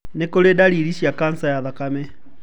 Nĩ kũrĩ ndariri cia kanca ya thakame.